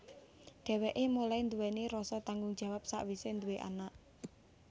Dhewekè mulai nduwèni rasa tanggung jawab sakwise duwé anak